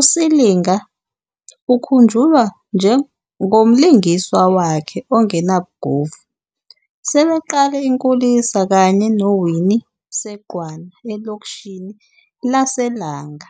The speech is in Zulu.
uSilinga ukhunjulwa ngomlingiswa wakhe ongenabugovu, sebeqale inkulisa kanye noWinnie Seqwana elokishini laseLanga.